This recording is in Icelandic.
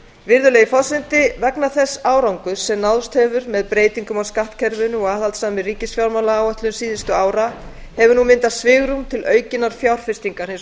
virðulegi forseti vegna þess árangurs sem náðst hefur með breytingum á skattkerfinu og aðhaldssamri ríkisfjármálaáætlun síðustu ára hefur nú myndast svigrúm til aukinnar fjárfestingar hins